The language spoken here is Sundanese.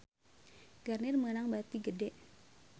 Garnier meunang bati gede